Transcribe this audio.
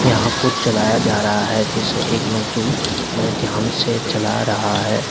यहां कुछ जलाया जा रहा है जिसे एक मजदूर बड़े ध्यान से जला रहा है।